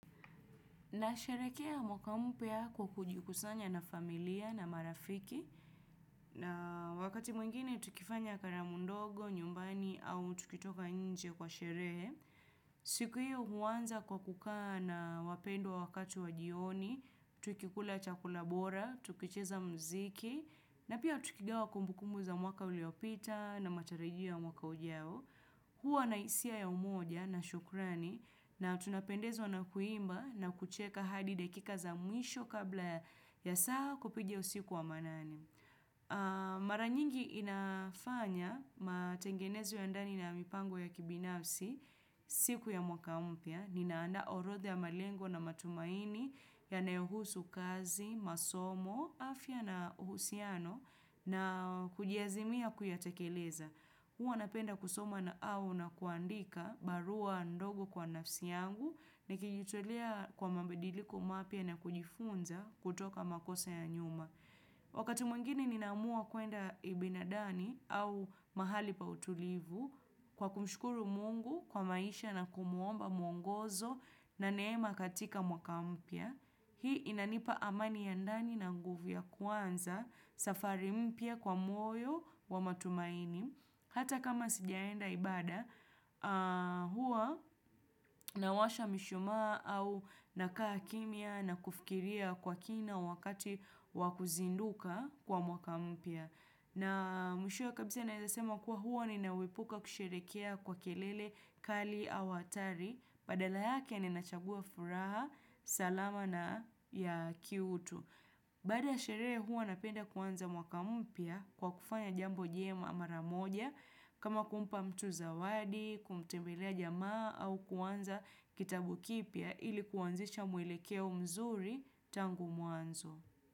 Nasherehekea mwaka mpya kwa kujikusanya na familia na marafiki na wakati mwingine tukifanya karamu ndogo, nyumbani au tukitoka nje kwa sherehe. Siku hiyo huanza kwa kukaa na wapendwa wakati wa jioni, tukikula chakula bora, tukicheza muziki na pia tukigawa kumbukumbu za mwaka uliopita na matarajio ya mwaka ujao. Huwa na hisia ya umoja na shukrani na tunapendezwa na kuimba na kucheka hadi dakika za mwisho kabla ya saa kupiga usiku wa manane. Mara nyingi inafanya matengenezo ya ndani na mipango ya kibinafsi siku ya mwaka mpya. Ninaandaa orodha ya malengo na matumaini yanayohusu kazi, masomo, afya na uhusiano na kujiazimia kuyatekeleza. Huwa napenda kusoma na au na kuandika barua ndogo kwa nafsi yangu nikijitolea kwa mabidiliko mapya na kujifunza kutoka makosa ya nyuma. Wakati mwengine ninamua kuenda ibinadani au mahali pa utulivu kwa kumshukuru mungu kwa maisha na kumuomba mwongozo na neema katika mwaka mpya. Hii inanipa amani ya ndani na nguvu ya kwanza safari mpya kwa moyo wa matumaini. Hata kama sijaenda ibada, huwa nawasha mishuma au nakaa kimya na kufikiria kwa kina wakati wa kuzinduka kwa mwaka mpya. Na mwishowe kabisa naweza sema kuwa huwa ninaepuka kusherehekea kwa kelele kali au hatari. Badala yake ninachagua furaha, salama na ya kiutu. Baada ya sherehe huwa napenda kuanza mwaka mpya kwa kufanya jambo njema mara moja. Kama kumpa mtu zawadi, kumtembelea jamaa au kuanza kitabu kipya ili kuanzisha mwelekeo mzuri tangu mwanzo.